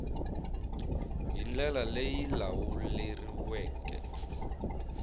hi ndlela leyi yi lawuleriweke